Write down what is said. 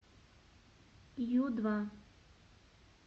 ю два